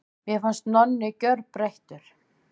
Mér fannst Nonni gjörbreyttur.